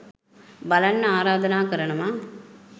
බලන්න ආරධනා කරනවා.